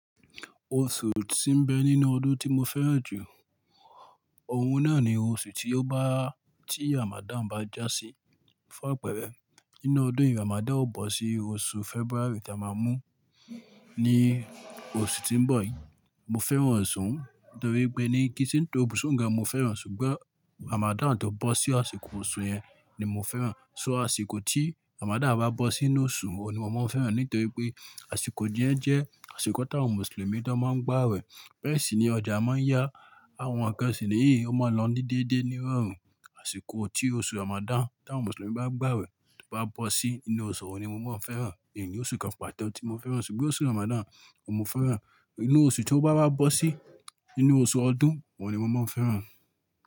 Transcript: Oṣù tí ń bẹ nínú ọdún tí mo fẹ́ràn jù, òhun náà ni oṣù tí ó bá, tí Ramadan bá já sí fún àpẹẹrẹ. Nínú ọdún yìí Ramadan ó bọ́ sí oṣù February tí a máa mú ní oṣù tí ń bọ̀ yìí. Mo fẹ́ràn ọ̀ṣu un nítorí pé ní kí n se n tori oṣú ùn gan mo fẹ́ràn, ṣùgbọ́n Ramadan tó bọ́ sí àsìkò oṣù yẹn ni mo fẹ́ràn. So àsìkò tí Ramadan bá bọ́ sínú oṣù ohun ni mo máa ń fẹ́ràn nítorí pé àsìkò yẹ̀ń jẹ́ àsìkò tí àwọn Mùsùlùmí tó máa ń gbà awẹ̀. Bẹ́ẹ̀sini ọjà máa ń yá àwọn ǹkan ṣi ní eyi ó máa lọ ní déédéé ní irọrùn. Àsìkò tí oṣù Ramadan tí àwọn Mùsùlùmí bá n gbà wẹ̀ to bá bọ́ sí inú oṣù hun ni mo máa ń fẹ́ràn. Ínní oṣù kan pàto tí mo fẹ́ràn ṣùgbọ́n oṣù Ramadan òuni mo fẹ́ràn. Inú oṣù tí ó bá bá bọ́ sí inú oṣù ọdún ohun ni mo máa ń fẹ́ràn.